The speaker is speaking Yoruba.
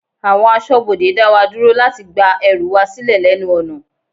Àwọn aṣọbode dá wa dúró láti gba ẹrù wa silẹ lẹ́nu ọ̀nà.